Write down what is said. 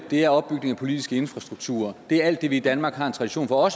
det er opbygning af politisk infrastruktur det er alt det vi i danmark har en tradition for